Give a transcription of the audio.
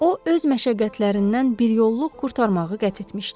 O öz məşəqqətlərindən biryolluq qurtarmağı qət etmişdi.